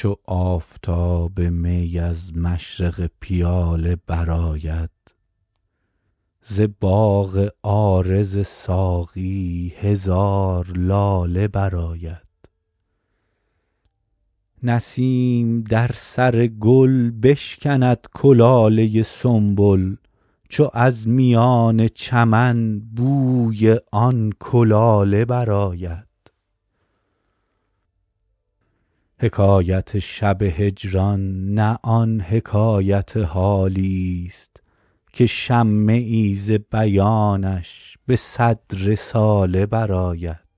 چو آفتاب می از مشرق پیاله برآید ز باغ عارض ساقی هزار لاله برآید نسیم در سر گل بشکند کلاله سنبل چو از میان چمن بوی آن کلاله برآید حکایت شب هجران نه آن حکایت حالیست که شمه ای ز بیانش به صد رساله برآید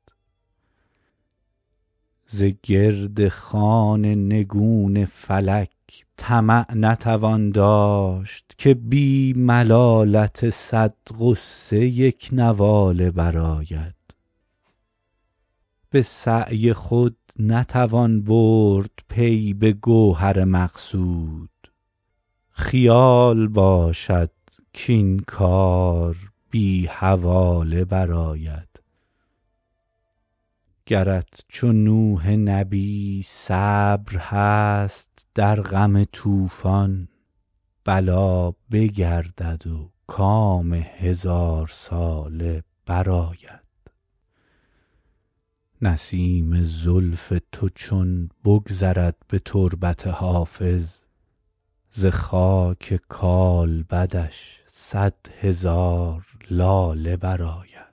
ز گرد خوان نگون فلک طمع نتوان داشت که بی ملالت صد غصه یک نواله برآید به سعی خود نتوان برد پی به گوهر مقصود خیال باشد کاین کار بی حواله برآید گرت چو نوح نبی صبر هست در غم طوفان بلا بگردد و کام هزارساله برآید نسیم زلف تو چون بگذرد به تربت حافظ ز خاک کالبدش صد هزار لاله برآید